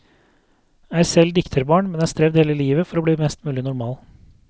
Er selv dikterbarn, men har strevd hele livet for å bli mest mulig normal.